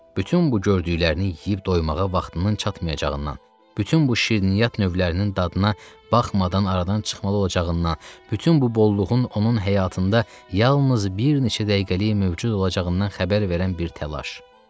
Bütün bu gördüklərini yeyib doymağa vaxtının çatmayacağından, bütün bu şirniyyat növlərinin dadına baxmadan aradan çıxmalı olacağından, bütün bu bolluğun onun həyatında yalnız bir neçə dəqiqəlik mövcud olacağından xəbər verən bir təlaş.